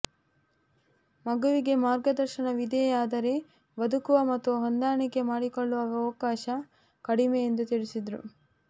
ಮಗುವಿಗೆ ಮಾರ್ಗದರ್ಶನವಿದೆ ಆದರೆ ಬದುಕುವ ಮತ್ತು ಹೊಂದಾಣಿಕೆ ಮಾಡಿಕೊಳ್ಳುವ ಅವಕಾಶ ಕಡಿಮೆ ಎಂದು ತಿಳಿಸಿದರು